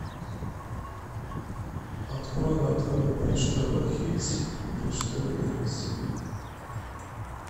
открой на тв бридж тв хитс бридж тв дэнс